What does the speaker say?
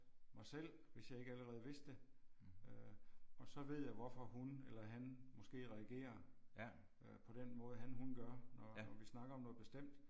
Mig selv hvis jeg ikke allerede vidste det. Øh og så ved jeg hvorfor hun eller han måske reagerer øh på den måde han hun gør når når vi snakker om noget bestemt